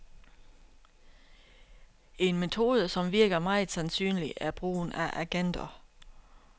En metode, som virker meget sandsynlig, er brugen af agenter.